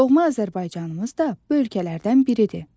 Doğma Azərbaycanımız da bu ölkələrdən biridir.